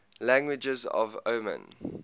languages of oman